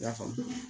I y'a faamu